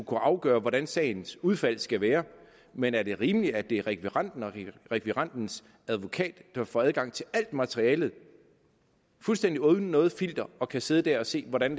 kunne afgøre hvordan sagens udfald skal være men er det rimeligt at det er rekvirenten og rekvirentens advokat der vil få adgang til alt materiale fuldstændig uden noget filter og kan sidde der og se hvordan